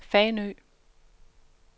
Fanø